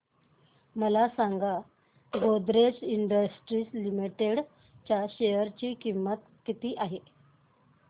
मला सांगा Godrej industries limited च्या शेअर ची किंमत किती आहे